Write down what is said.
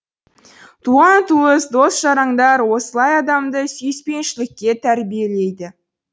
туған туыс дос жарандар осылай адамды сүйіспеншілікке тәрбиелейді